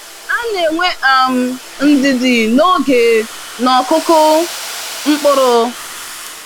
Ana enwe um ndidi n'oge n'okụkụ mkpụrụ.